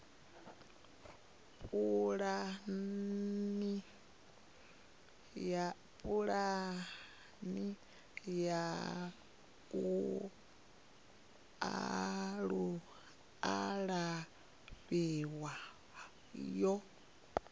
pulani ya u alafha yo